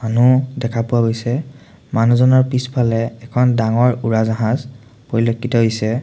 মানুহ দেখা পোৱা গৈছে মানুহজনৰ পিছফালে এখন ডাঙৰ উৰাজাহাজ পৰিলক্ষিত হৈছে।